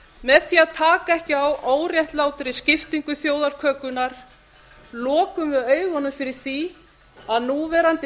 með því að taka ekki á óréttlátri skiptingu þjóðarkökunnar lokum við augunum fyrir því að núverandi